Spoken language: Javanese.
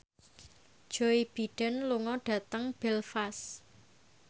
Joe Biden lunga dhateng Belfast